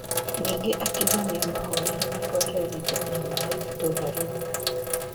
Ningĩ akiuga nĩamahoire matware thitima na maĩ itũra rĩu.